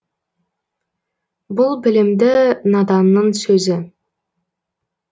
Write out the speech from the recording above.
бұл білімді наданның сөзі